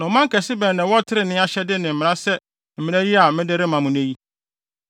Na ɔman kɛse bɛn na ɛwɔ trenee ahyɛde ne mmara sɛ saa mmara yi a mede rema mo nnɛ yi?